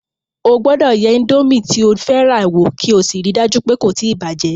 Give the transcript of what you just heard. O gbọ́dọ̀ yẹ indomi tí o fẹ́ rà wo kí o sì rí í dájú pé kò tí bàjẹ̀